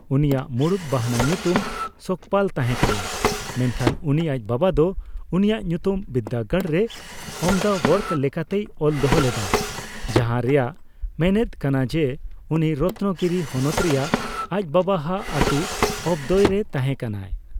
ᱩᱱᱤᱭᱟᱜ ᱢᱩᱬᱩᱛ ᱵᱟᱦᱱᱟ ᱧᱩᱛᱩᱢ ᱥᱚᱠᱯᱟᱞ ᱛᱟᱦᱮᱸ ᱠᱟᱱᱟ, ᱢᱮᱱᱠᱷᱟᱱ ᱩᱱᱤ ᱟᱡ ᱵᱟᱵᱟ ᱫᱚ ᱩᱱᱤᱭᱟᱜ ᱧᱩᱛᱩᱢ ᱵᱤᱨᱫᱟᱹᱜᱟᱲ ᱨᱮ ᱚᱢᱫᱟᱣᱮᱠᱨ ᱞᱮᱠᱟᱛᱮᱭ ᱚᱞ ᱫᱚᱦᱚ ᱞᱮᱫᱟ, ᱡᱟᱦᱟᱸ ᱨᱮᱱᱟᱜ ᱢᱮᱱᱮᱫ ᱠᱟᱱᱟ ᱡᱮ ᱩᱱᱤ ᱨᱚᱛᱱᱚᱜᱤᱨᱤ ᱦᱚᱱᱚᱛ ᱨᱮᱭᱟᱜ ᱟᱡ ᱵᱟᱵᱟ ᱦᱟᱜ ᱟᱹᱛᱩ 'ᱚᱸᱵᱫᱚᱣᱮ' ᱨᱮ ᱛᱟᱦᱮᱸ ᱠᱟᱱᱟ᱾